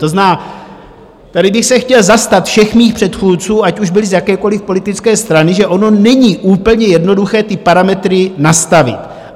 To znamená, tady bych se chtěl zastat všech mých předchůdců, ať už byli z jakékoliv politické strany, že ono není úplně jednoduché ty parametry nastavit.